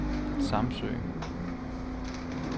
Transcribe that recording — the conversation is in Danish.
Samsø